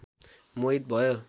मोहित भयो